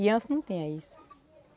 E antes não tinha isso.